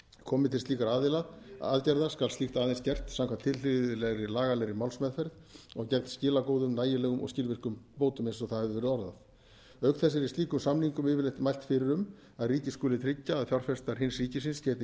komi til slíkra aðgerða skal slíkt aðeins gert samkvæmt tilhlýðilegri lagalegri málsmeðferð og gegn skilagóðum nægilegum og skilvirkum bótum eins og það hefur verið orðað auk þess er í slíkum samningum yfirleitt mælt fyrir um að ríki skuli tryggja að fjárfestar hins ríkisins geti